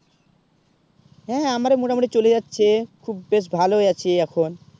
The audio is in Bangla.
হেঁ আমরা মোটামোটি চলে যাচ্ছে খুব বেশ ভালো ই আছি এখন